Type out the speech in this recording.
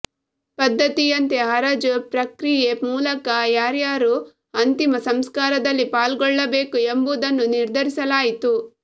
ಪದ್ಧತಿಯಂತೆ ಹರಾಜು ಪ್ರಕ್ರಿಯೆ ಮೂಲಕ ಯಾರ್ಯಾರು ಅಂತಿಮ ಸಂಸ್ಕಾರದಲ್ಲಿ ಪಾಲ್ಗೊಳ್ಳಬೇಕು ಎಂಬುದನ್ನು ನಿರ್ಧರಿಸಲಾಯ್ತು